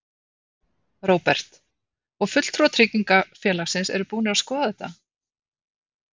Róbert: Og fulltrúar tryggingafélagsins eru búnir að skoða þetta?